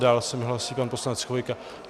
Dále se mi hlásí pan poslanec Chvojka.